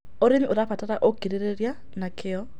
Ũrĩmĩ ũrabatara ũkĩrĩrĩrĩa na kĩo